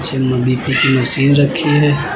पीछे में भी कुछ मशीन रखी है।